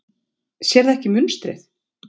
Sérðu ekki munstrið?